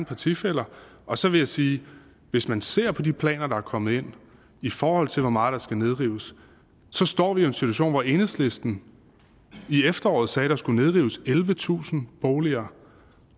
partifæller og så vil jeg sige hvis man ser på de planer der er kommet ind i forhold til hvor meget der skal nedrives står vi jo en situation hvor enhedslisten i efteråret sagde der skulle nedrives ellevetusind boliger